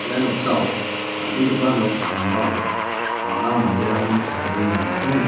ia noksao dal·begipa nok sambao bang·a manderangni chadenge dongako nika.